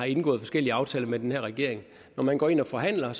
indgået forskellige aftaler med den her regering når man går ind og forhandler